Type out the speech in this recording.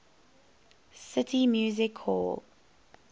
city music hall